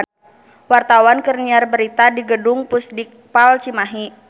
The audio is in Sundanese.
Wartawan keur nyiar berita di Gedung Pusdikpal Cimahi